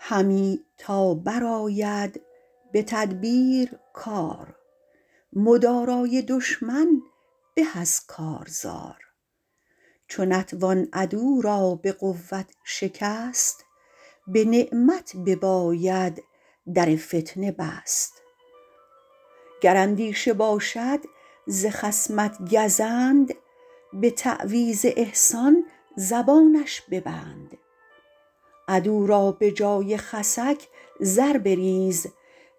همی تا برآید به تدبیر کار مدارای دشمن به از کارزار چو نتوان عدو را به قوت شکست به نعمت بباید در فتنه بست گر اندیشه باشد ز خصمت گزند به تعویذ احسان زبانش ببند عدو را به جای خسک زر بریز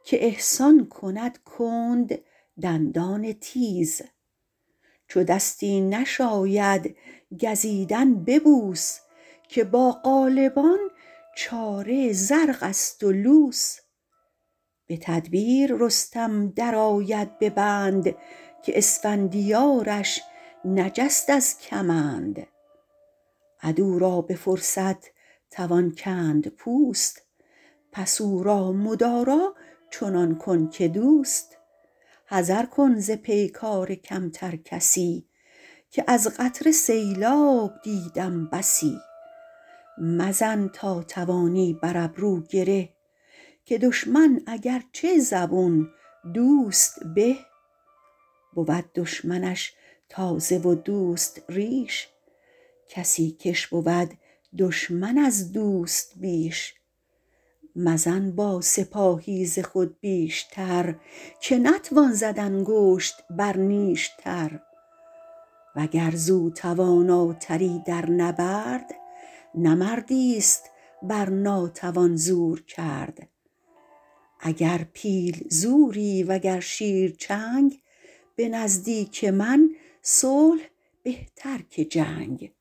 که احسان کند کند دندان تیز چو دستی نشاید گزیدن ببوس که با غالبان چاره زرق است و لوس به تدبیر رستم در آید به بند که اسفندیارش نجست از کمند عدو را به فرصت توان کند پوست پس او را مدارا چنان کن که دوست حذر کن ز پیکار کمتر کسی که از قطره سیلاب دیدم بسی مزن تا توانی بر ابرو گره که دشمن اگرچه زبون دوست به بود دشمنش تازه و دوست ریش کسی کش بود دشمن از دوست بیش مزن با سپاهی ز خود بیشتر که نتوان زد انگشت بر نیشتر وگر زو تواناتری در نبرد نه مردی است بر ناتوان زور کرد اگر پیل زوری وگر شیر چنگ به نزدیک من صلح بهتر که جنگ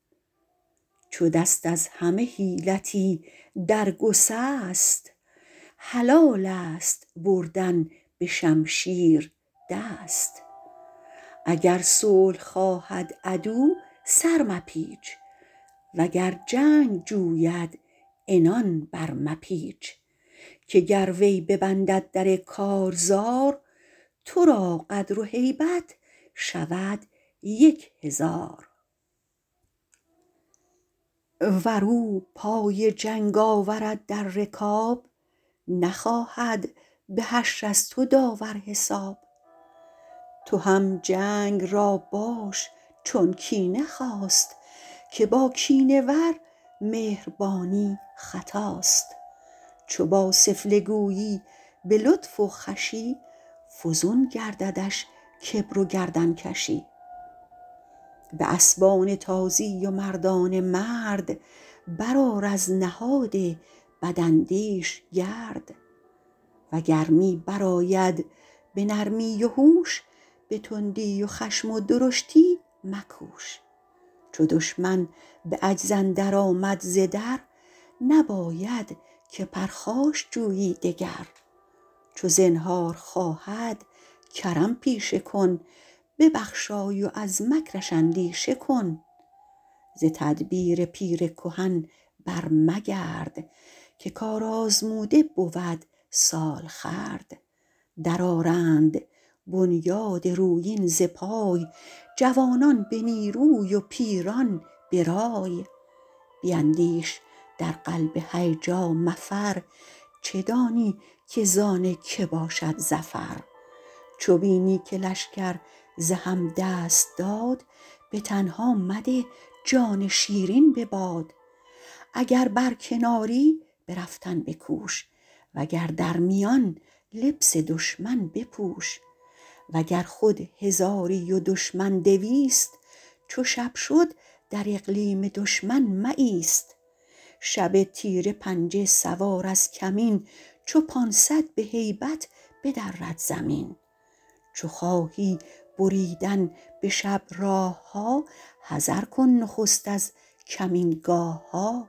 چو دست از همه حیلتی در گسست حلال است بردن به شمشیر دست اگر صلح خواهد عدو سر مپیچ وگر جنگ جوید عنان بر مپیچ که گر وی ببندد در کارزار تو را قدر و هیبت شود یک هزار ور او پای جنگ آورد در رکاب نخواهد به حشر از تو داور حساب تو هم جنگ را باش چون کینه خواست که با کینه ور مهربانی خطاست چو با سفله گویی به لطف و خوشی فزون گرددش کبر و گردن کشی به اسبان تازی و مردان مرد بر آر از نهاد بداندیش گرد و گر می بر آید به نرمی و هوش به تندی و خشم و درشتی مکوش چو دشمن به عجز اندر آمد ز در نباید که پرخاش جویی دگر چو زنهار خواهد کرم پیشه کن ببخشای و از مکرش اندیشه کن ز تدبیر پیر کهن بر مگرد که کارآزموده بود سالخورد در آرند بنیاد رویین ز پای جوانان به نیروی و پیران به رای بیندیش در قلب هیجا مفر چه دانی که زان که باشد ظفر چو بینی که لشکر ز هم دست داد به تنها مده جان شیرین به باد اگر بر کناری به رفتن بکوش وگر در میان لبس دشمن بپوش وگر خود هزاری و دشمن دویست چو شب شد در اقلیم دشمن مایست شب تیره پنجه سوار از کمین چو پانصد به هیبت بدرد زمین چو خواهی بریدن به شب راه ها حذر کن نخست از کمینگاه ها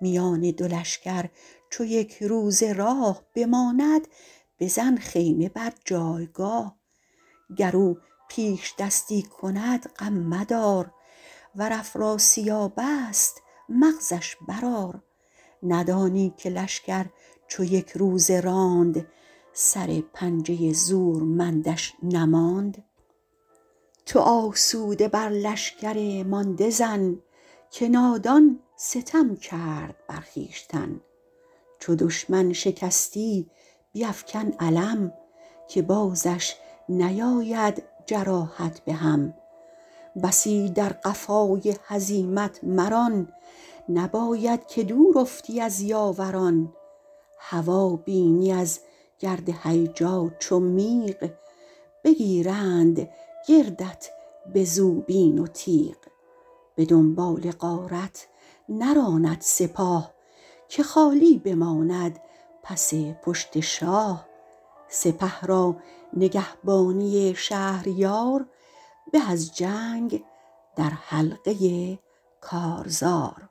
میان دو لشکر چو یک روز راه بماند بزن خیمه بر جایگاه گر او پیشدستی کند غم مدار ور افراسیاب است مغزش بر آر ندانی که لشکر چو یک روزه راند سر پنجه زورمندش نماند تو آسوده بر لشکر مانده زن که نادان ستم کرد بر خویشتن چو دشمن شکستی بیفکن علم که بازش نیاید جراحت به هم بسی در قفای هزیمت مران نباید که دور افتی از یاوران هوا بینی از گرد هیجا چو میغ بگیرند گردت به زوبین و تیغ به دنبال غارت نراند سپاه که خالی بماند پس پشت شاه سپه را نگهبانی شهریار به از جنگ در حلقه کارزار